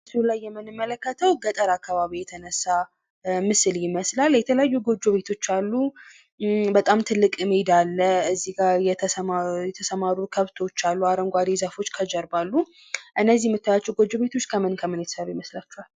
በምስሉ ላይ የምንመለከተው በገጠር አካባቢ የተነሳ ምስል ይመስላል። የተለያዩ ጎጆ ቤቶች አሉ። በጣም ትልቅ ሜዳ አለ። የተሰማሩ ከብቶች አሉ። አረንጓዴ ዛፎች ከጀርባ አሉ። እነዚህ የምታያቸው ጎጆ ቤቶች ከምን ከምን የተሰሩ ይመስሏችኋል?